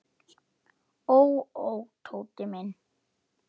Ó, ó, Tóti minn.